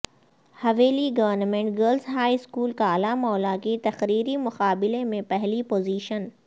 حویلی government girls high school Kala Mola کی تقریری مقابلہ میں پہلی پوزیشن